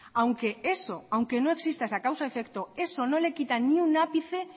aunque eso aunque no exista esa causa efecto eso no le quita ni un ápice